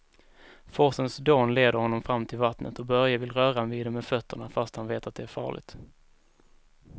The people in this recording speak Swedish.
Forsens dån leder honom fram till vattnet och Börje vill röra vid det med fötterna, fast han vet att det är farligt.